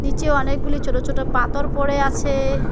নীচে অনেকগুলি ছোট ছোট পাতর পড়ে আছে।